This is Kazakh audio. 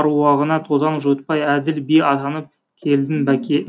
әруағына тозаң жуытпай әділ би атанып келдің бәке